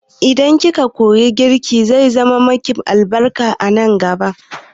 Idan ki ka koyi girki, zai zaman ma ki albarka nan gaba